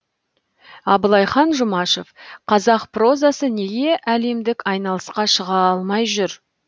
абылайхан жұмашев қазақ прозасы неге әлемдік айналысқа шыға алмай жүр